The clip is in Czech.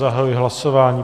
Zahajuji hlasování.